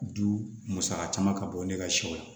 Du musaka caman ka bɔ ne ka sɛw la